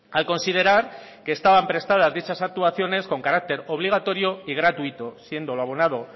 al considerar que estaban prestadas dichas actuaciones con carácter obligatorio y gratuito siendo lo abonado